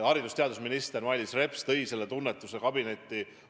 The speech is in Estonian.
Haridus- ja teadusminister Mailis Reps tõi selle tunnetuse kabinetti.